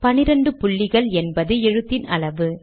12 புள்ளிகள் என்பது எழுத்தின் அளவு